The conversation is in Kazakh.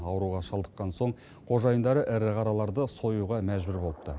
ауруға шалдыққан соң қожайындары ірі қараларды союға мәжбүр болыпты